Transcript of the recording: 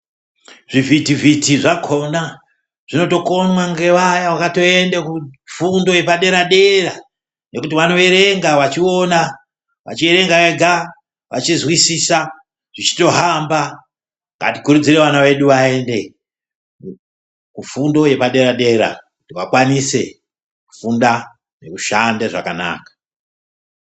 Zvi vhiti vhiti zvakona zvinoto konwa nge vaya vakato ende ku fundo yepa dera dera ngekuti vano erenga vachiona vachi erenga ega vachi nzwisisa zvichito hamba ngati kurudzirevo vana vedu vaende ku fundo yepa dera dera vakwanise kufunda ngeku shande zvakanaka.